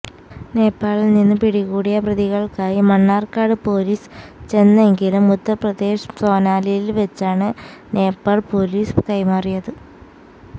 നേപ്പാളില് നിന്നും പിടികൂടിയ പ്രതികള്ക്കായി മണ്ണാര്ക്കാട് പോലീസ് ചെന്നെങ്കിലും ഉത്തര്പ്രദേശ് സോനാലില് വെച്ചാണ് നേപ്പാള് പോലീസ് കൈമാറിയത്